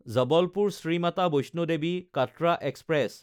জবলপুৰ–শ্ৰী Mata Vaishno Devi Katra express